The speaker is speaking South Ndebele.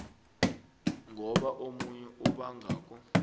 ngoba omunye obangako